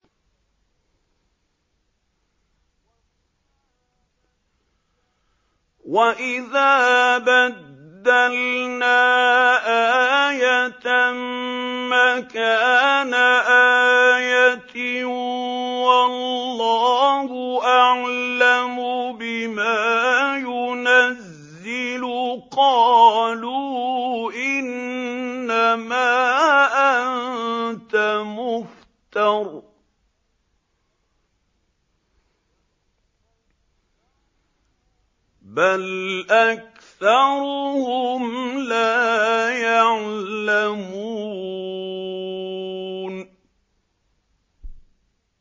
وَإِذَا بَدَّلْنَا آيَةً مَّكَانَ آيَةٍ ۙ وَاللَّهُ أَعْلَمُ بِمَا يُنَزِّلُ قَالُوا إِنَّمَا أَنتَ مُفْتَرٍ ۚ بَلْ أَكْثَرُهُمْ لَا يَعْلَمُونَ